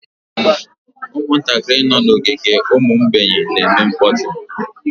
Ụmụntakịrị nọ n'ogige ụmụ mgbei na-eme mkpọtụ